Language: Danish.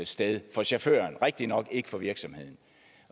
sted for chaufføren ikke for virksomheden